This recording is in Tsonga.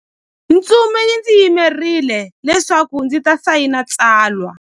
Ntsumi yi ndzi yimerile leswaku ndzi ta sayina tsalwa.